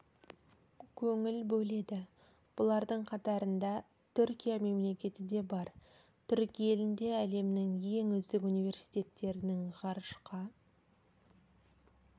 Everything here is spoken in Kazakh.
көңіл бөледі бұлардың қатарында түркия мемлекеті де бар түрік елінде әлемнің ең үздік университеттерінің ғарышқа